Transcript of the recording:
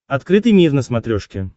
открытый мир на смотрешке